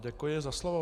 Děkuji za slovo.